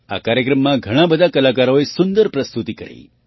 આ કાર્યક્રમમાં ઘણા બધા કલાકારોએ સુંદર પ્રસ્તુતિ કરી